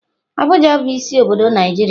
Abuja bu isi obodo Naijiria.